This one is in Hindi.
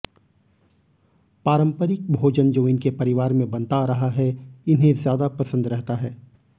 पारंपरिक भोजन जो इनके परिवार में बनता आ रहा है इन्हें ज्यादा पसंद रहता है